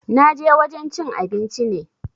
Na je wajen cin abinci ne